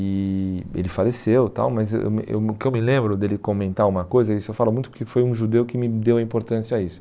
E ele faleceu tal, mas eh eu me o que eu me lembro dele comentar uma coisa, isso eu falo muito que foi um judeu que me deu a importância a isso.